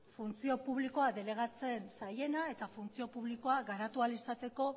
funtzio publikoa delegatzen zaiena eta funtzio publikoa garatu ahal izateko